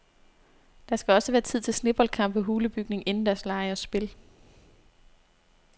Der skal også være tid til sneboldkampe, hulebygning, indendørslege og spil.